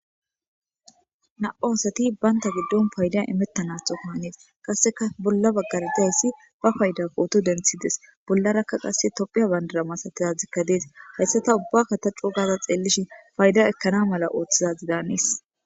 nam'u asati baynta giddon payda imettanathoko hanees qasseka bolla baggara dayssi ba payda kooto denthides bollarakka qasse tophiya bandaramasatizadzdzikka dees hayssa ta ubbakka ta co gaza xeelishi fayda ekkana mala ooththizazi daanees